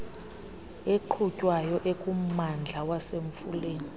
eqhutywayo ekummandla wasemfuleni